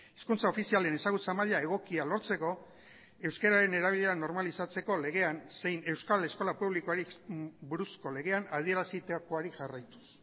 hizkuntza ofizialen ezagutza maila egokia lortzeko euskararen erabilera normalizatzeko legean zein euskal eskola publikoari buruzko legean adierazitakoari jarraituz